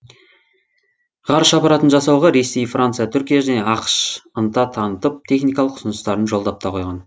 ғарыш аппаратын жасауға ресей франция түркия және ақш ынта танытып техникалық ұсыныстарын жолдап та қойған